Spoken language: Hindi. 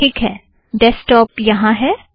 ठीक है - डैस्कटौप यहाँ है